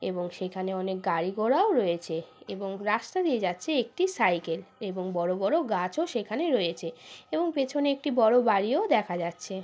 এবং সেখানে অনেক গাড়ি ঘোড়াও রয়েছে এবং রাস্তা দিয়ে যাচ্ছে একটি সাইকেল এবং বড় বড় গাছও সেখানে রয়েছে এবং পেছনে একটি বড় বাড়িও দেখা যাচ্ছে।